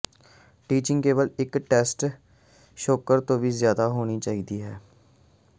teaching ਕੇਵਲ ਇਕ test score ਤੋਂ ਵੀ ਜ਼ਿਆਦਾ ਹੋਣੀ ਚਾਹੀਦੀ ਹੈ